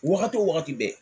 Wagati wo wagati bɛɛ